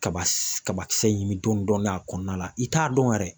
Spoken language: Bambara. Kaba kabakisɛ ɲini dɔndɔnin a kɔnɔna la i t'a dɔn yɛrɛ